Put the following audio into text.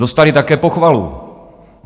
Dostali také pochvalu.